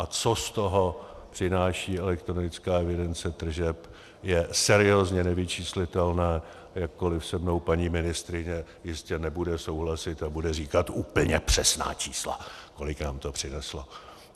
A co z toho přináší elektronická evidence tržeb, je seriózně nevyčíslitelné, jakkoli se mnou paní ministryně jistě nebude souhlasit a bude říkat úplně přesná čísla, kolik nám to přineslo.